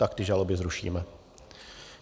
Tak ty žaloby zrušíme.